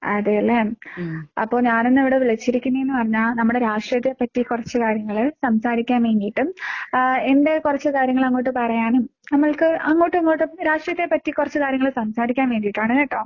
അതേല്ലേ? അപ്പൊ ഞാനെന്ന് ഇവിടെ വിളിച്ചിരിക്കുന്നേന്ന് പറഞ്ഞാ നമ്മുടെ രാഷ്ട്രീയത്തെപ്പറ്റി കൊറച്ച് കാര്യങ്ങള് സംസാരിക്കാൻ വേണ്ടീട്ടും ആഹ് എന്റെ കൊറച്ച് കാര്യങ്ങള് അങ്ങോട്ട് പറയാനും നമ്മൾക്ക് അങ്ങോട്ടും ഇങ്ങോട്ടും രാഷ്ട്രീയത്തെപ്പറ്റി കൊറച്ച് കാര്യങ്ങള് സംസാരിക്കാൻ വേണ്ടീട്ടാണ് കേട്ടോ.